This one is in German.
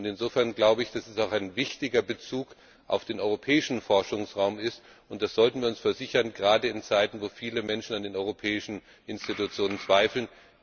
Insofern glaube ich, dass es auch ein wichtiger Beitrag zum Europäischen Forschungsraum ist, und das sollten wir uns versichern, gerade in Zeiten, in denen viele Menschen an den europäischen Institutionen zweifeln.